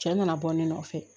Cɛ nana bɔ ne nɔfɛ